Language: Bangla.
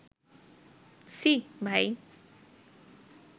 ছি ভাই